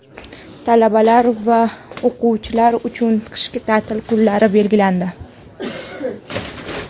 Talabalar va o‘quvchilar uchun qishki ta’til kunlari belgilandi.